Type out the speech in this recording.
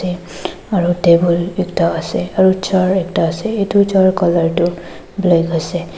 aru table ekta ase aru chair ekta ase etu chair colour tu black ase.